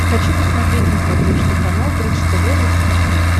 хочу посмотреть на смотрешке канал бридж тв русский хит